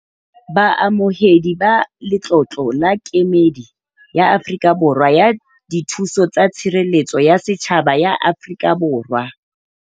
Baamohedi ba letlolo la Kemedi ya Afrika Borwa ya Dithuso tsa Tshireletso ya Setjhaba ya Afrika Borwa.